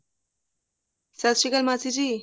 ਸਤਿ ਸ਼੍ਰੀ ਅਕਾਲ ਮਾਸੀ ਜੀ